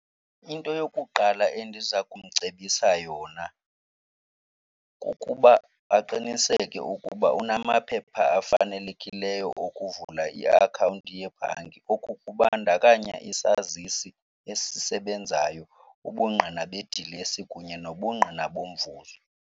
Into yokuqala endiza kumcebisa yona kukuba aqiniseke ukuba unamaphepha afanelekileyo okuvula iakhawunti yebhanki. Oku kubandakanya isazisi esisebenzayo, ubungqina bedilesi kunye nobungqina bomvuzo.